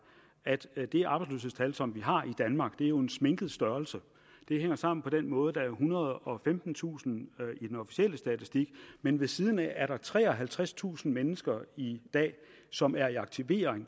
at det arbejdsløshedstal som vi har i danmark jo er en sminket størrelse det hænger sammen på den måde at der er ethundrede og femtentusind i den officielle statistik men ved siden af er der treoghalvtredstusind mennesker i dag som er i aktivering